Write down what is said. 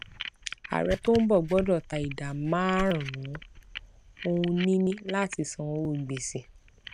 ààrẹ tó ń bọ gbọdọ ta ìdá márùnún ohunìní láti san owó gbèsè